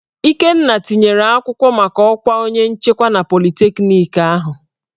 Ikenna tinyere akwụkwọ maka ọkwa onye nchekwa na politekniki ahụ.